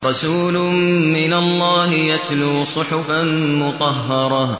رَسُولٌ مِّنَ اللَّهِ يَتْلُو صُحُفًا مُّطَهَّرَةً